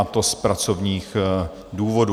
a to z pracovních důvodů.